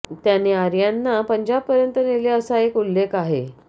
त्याने आर्यांना पंजाब पर्यंत नेले असा एक उल्लेख आहे